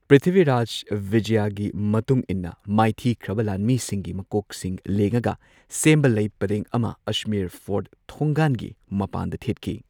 ꯄ꯭ꯔꯤꯊꯤꯚꯤꯔꯥꯖ ꯕꯤꯖꯌꯒꯤ ꯃꯇꯨꯡ ꯏꯟꯅ ꯃꯥꯏꯊꯤꯈ꯭ꯔꯕ ꯂꯥꯟꯃꯤꯁꯤꯡꯒꯤ ꯃꯀꯣꯛꯁꯤꯡ ꯂꯦꯡꯉꯒ ꯁꯦꯝꯕ ꯂꯩꯄꯔꯦꯡ ꯑꯃ ꯑꯖꯃꯦꯔ ꯐꯣꯔꯠ ꯊꯣꯡꯒꯥꯟꯒꯤ ꯃꯄꯥꯟꯗ ꯊꯦꯠꯈꯤ꯫